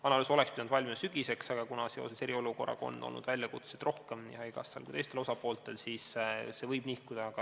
Analüüs oleks pidanud valmima sügiseks, aga kuna seoses eriolukorraga on nii haigekassal kui ka teistel osapooltel olnud muid ülesandeid, siis võib see edasi nihkuda.